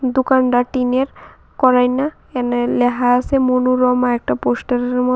দোকানটা টিনের এনে লেহা আসে মনোরমা একটা পোস্টারের ম--